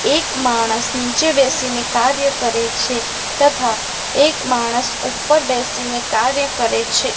એક માણસ નીચે બેસીને કાર્ય કરે છે તથા એક માણસ ઉપર બેસીને કાર્ય કરે છે.